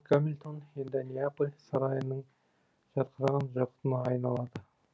гамильтон енді неаполь сарайының жарқыраған жақұтына айналады